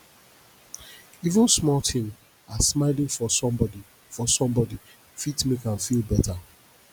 even small tin as smiling for somebodi for somebodi fit make am feel beta